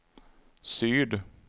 syd